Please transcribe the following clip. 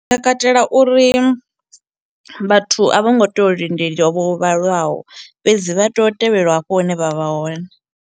Ndi nga katela uri vhathu a vho ngo tea u linde fhedzi vha tea u tevhelwa hafho hune vha vha hone.